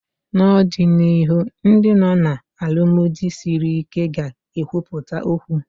N'ọdịnihu Ndị nọ na alụmdi sịrị ike ga ekwupụta okwu